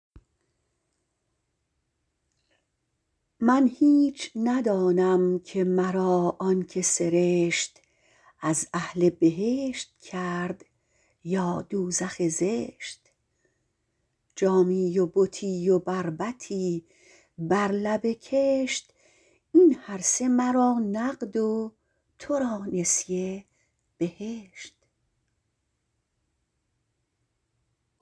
من هیچ ندانم که مرا آن که سرشت از اهل بهشت کرد یا دوزخ زشت جامی و بتی و بربطی بر لب کشت این هرسه مرا نقد و تو را نسیه بهشت